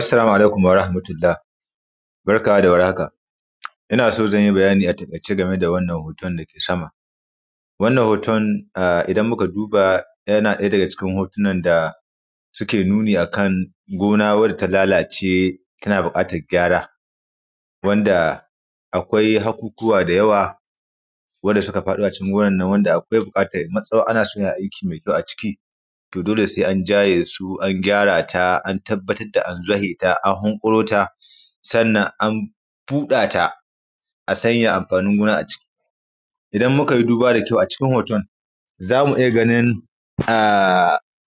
assalamu alaikum wa rahmatulla:h barka da war haka ina so zan yi bayani a taƙaice game da wannan hoton da ke sama wannan hoton da ke sama idan muka duba yanaɗaya daga cikin hotunan da suke nuni a kan gona wadda ta lalace tana buƙatar gyara wanda akwai hakukuwa da yawa wadda suka faɗo a cikin gonan nan wanda akwai buƙatar matsawar ana so a yi aiki mai kyau a ciki to dole sai an jaye su an gyara ta an tabbatar da an zwahe ta an hunƙuro ta sannan an buɗa ta a sanya amfanin gona a ciki idan muka yi duba da kyau a cikin hoton za mu iya ganin